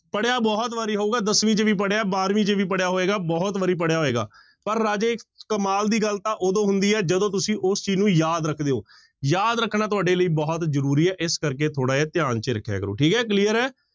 ਪੜ੍ਹਿਆ ਬਹੁਤ ਵਾਰੀ ਹੋਊਗਾ ਦਸਵੀਂ ਚ ਵੀ ਪੜ੍ਹਿਆ, ਬਾਰਵੀਂ ਚ ਵੀ ਪੜ੍ਹਿਆ ਹੋਏਗਾ, ਬਹੁਤ ਵਾਰੀ ਪੜ੍ਹਿਆ ਹੋਏਗਾ, ਪਰ ਰਾਜੇ ਕਮਾਲ ਦੀ ਗੱਲ ਤਾਂ ਉਦੋਂ ਹੁੰਦੀ ਹੈ ਜਦੋਂ ਤੁਸੀਂ ਉਸ ਚੀਜ਼ ਨੂੰ ਯਾਦ ਰੱਖਦੇ ਹੋ ਯਾਦ ਰੱਖਣਾ ਤੁਹਾਡੇ ਲਈ ਬਹੁਤ ਜ਼ਰੂਰੀ ਹੈ, ਇਸ ਕਰਕੇ ਥੋੜ੍ਹਾ ਜਿਹਾ ਧਿਆਨ ਚ ਰੱਖਿਆ ਕਰੋ ਠੀਕ ਹੈ clear ਹੈ।